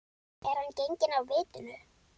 Er hann genginn af vitinu?